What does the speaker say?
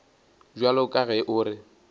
bjalo ka ge o re